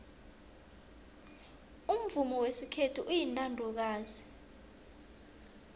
umvumo wesikhethu uyintandokazi